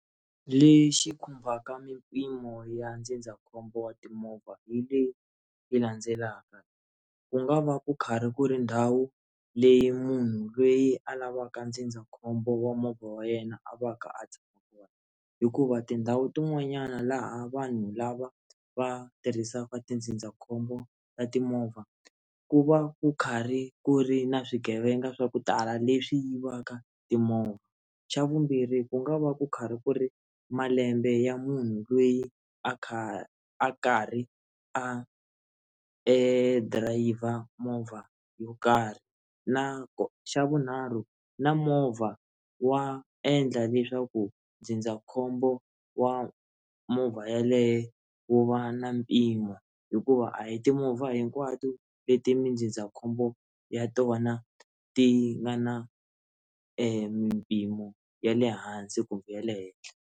Lexi khumbaka mimpimo ya ndzindzakhombo wa timovha hi leyi landzelaka ku nga va ku karhi ku ri ndhawu leyi munhu loyi a lavaka ndzindzakhombo wa movha wa yena a va ka a tshama kona hikuva tindhawu tin'wanyana laha vanhu lava va tirhisaka tindzindzakhombo ta timovha ku va ku karhi ku ri na swigevenga swa ku tala leswi yivaka timovha xa vumbirhi ku nga va ku karhi ku ri malembe ya munhu loyi a kha a karhi a driver movha yo karhi na xa vunharhu na movha wa endla leswaku ndzindzakhombo wa movha yaleyo wu va na mpimo hikuva a hi timovha hinkwato leti mindzindzakhombo ya tona ti nga na mimpimo ya le hansi kumbe ya le henhla.